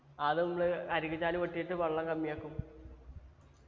അത് നമ്മള് അരുവി ചാൽ വെട്ടീട്ട് വെള്ളം കമ്മിയാക്കും